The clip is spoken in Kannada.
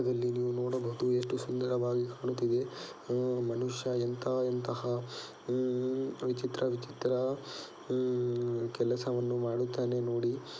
ಇಲ್ಲಿ ನೀವು ನೋಡಬಹುದು ಎಷ್ಟು ಸುಂದರವಾಗಿ ಕಾಣುತ್ತಿದೆ ಮನುಷ್ಯ ಎಂತ ಎಂತಹ ವಿಚಿತ್ರ ವಿಚಿತ್ರ ಹೂ ಕೆಲಸವನ್ನು ಮಾಡುತ್ತಾನೆ ನೋಡಿ.